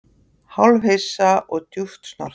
Hálfhissa og djúpt snortinn